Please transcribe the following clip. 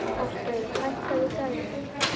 Hallgerður, hækkaðu í græjunum.